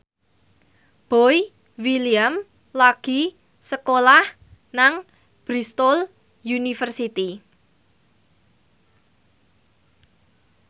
Boy William lagi sekolah nang Bristol university